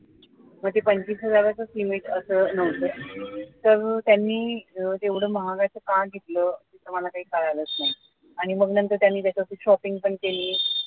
मग ते पंचवीस हजारच limit असं नव्हतं तर त्यानी अह एवढ महागाच card घेतलं आम्हाला काही कळालंच नाही आणि मग नंतर त्यांनी त्याच्यातून shopping पण केली